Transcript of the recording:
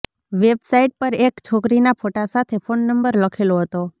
website પર એક છોકરીના ફોટા સાથે ફોનનંબર લખેલો હતો